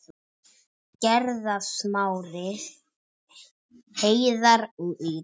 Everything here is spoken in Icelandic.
Gerða, Smári, Heiðar og Íris.